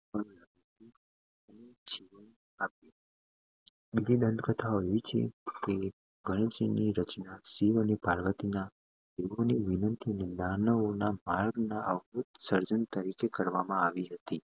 ગણેશજીની રચના શિવ અને પાર્વતીના વિનંતી સર્જન તરીકે કરવામાં આવી હતી